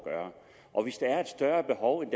gøre og hvis der er et større behov end